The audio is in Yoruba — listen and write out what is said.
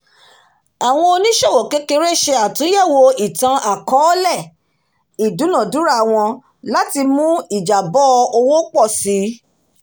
àwọn oníṣòwò kékeré ṣe àtúnyẹ̀wò itan-akọọlẹ ìdúnàdúrà wọn láti mú ìjàbọ̀ owó pọ̀ sí